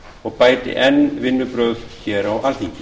og bæti enn vinnubrögðin hér á alþingi